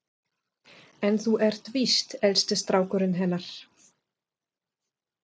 En þú ert víst elsti strákurinn hennar